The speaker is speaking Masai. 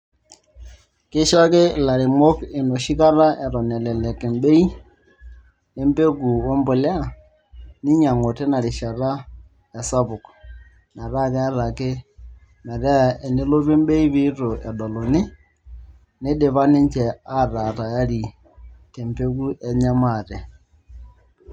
Kisho ake ilairemok enoshi kata eton elelek embei e embeku ashu embolea ninyiang'u tina rishata esapuk metaa keeta ake, metaa enelotu embei pee itu edoluni nidipa ninche aataa tayari te embeku enye maate.